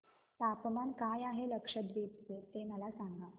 तापमान काय आहे लक्षद्वीप चे मला सांगा